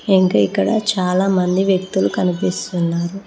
ఇంకా ఇక్కడ చాలామంది వ్యక్తులు కనిపిస్తున్నారు.